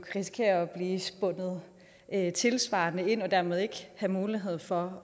risikere at blive spundet tilsvarende ind og dermed ikke have mulighed for